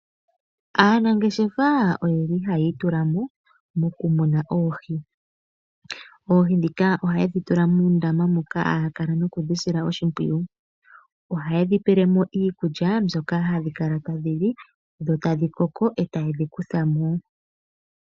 Aanangeshefa oye li hayi itula mo moku muna oohi. Oohi ndhika ohaye dhi tula muundama moka haya kala nokudhi sila oshimpwiyu. Ohaye dhi pele mo iikulya mbyoka hadhi kala tadhi li dho tadhi koko e taye dhi kutha mo.